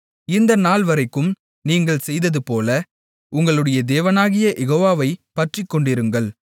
இந்த நாள்வரைக்கும் நீங்கள் செய்ததுபோல உங்களுடைய தேவனாகிய யெகோவாவைப் பற்றிக்கொண்டிருங்கள்